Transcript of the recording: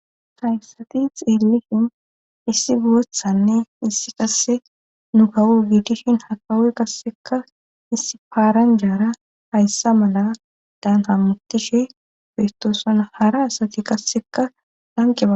Hayssati xeelihin issi goothanne issi qasse nu kawu giitishin hakawoy kasseka issi paaran jaara hayssa mala daan hammutishe festoosan hara asati kasseka lanqeaba.